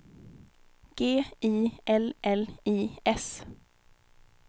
G I L L I S